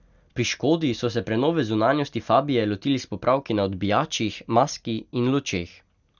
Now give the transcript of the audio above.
Pri Škodi so se prenove zunanjosti fabie lotili s popravki na odbijačih, maski in lučeh.